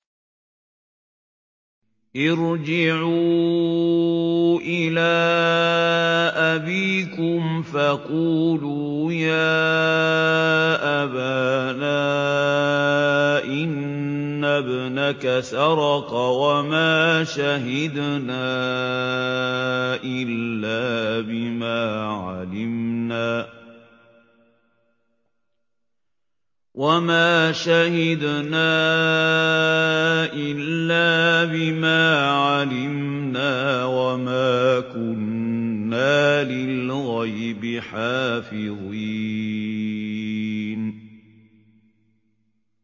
ارْجِعُوا إِلَىٰ أَبِيكُمْ فَقُولُوا يَا أَبَانَا إِنَّ ابْنَكَ سَرَقَ وَمَا شَهِدْنَا إِلَّا بِمَا عَلِمْنَا وَمَا كُنَّا لِلْغَيْبِ حَافِظِينَ